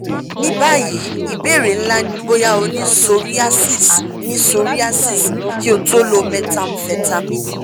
ní báyìí ìbéèrè ńlá ni bóyá o ní psoriasis ní psoriasis kí o tó lo methamphetamine